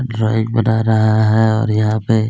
drawing बना रहा है और यहाँ पे --